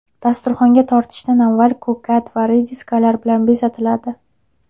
Dasturxonga tortishdan avval ko‘kat va rediskalar bilan bezatiladi.